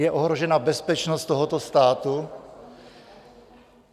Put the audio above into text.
Je ohrožena bezpečnost tohoto státu?